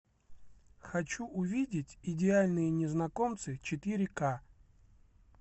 хочу увидеть идеальные незнакомцы четыре ка